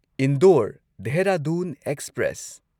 Indore Dehradun express